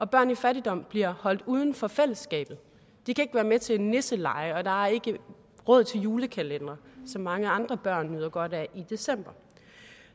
børn i fattigdom bliver holdt uden for fællesskabet de kan ikke være med til nisselege og der er ikke råd til julekalendere som mange andre børn nyder godt af i december